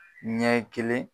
Ɲɛ kelen.